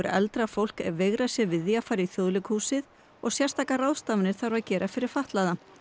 eldra fólk veigrað sér við því að fara í Þjóðleikhúsið og sérstakar ráðstafanir þarf að gera fyrir fatlaða